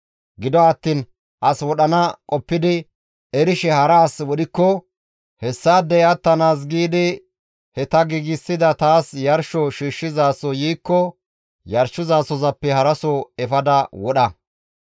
Gido attiin as wodhana qoppidi erishe hara as wodhikko hessaadey attanaas giidi he ta giigsida taas yarsho shiishshizaso yiikko yarshizasohozappe haraso efada wodha.